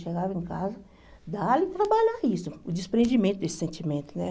Chegava em casa, dava para trabalhar isso, o desprendimento desse sentimento, né?